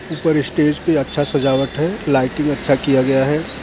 ऊपर स्टेज पे अच्छा सजावट हैं लाइटिंग अच्छा किया गया हैं ।